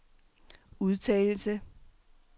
udtalelse